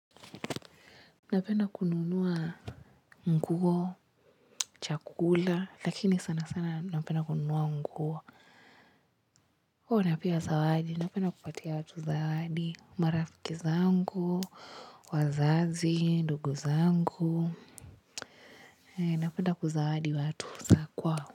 Napenda kununua nguo, chakula, lakini sana sana napenda kununua nguo. Huwa napea zawadi, napenda kupatia watu zawadi, marafiki zangu, wazazi, ndugu zangu. Napenda kuzawadi watu za kwao.